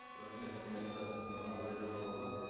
рахмет құрметті нұрлан зайроллаұлы